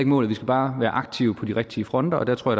målet vi skal bare være aktive på de rigtige fronter og der tror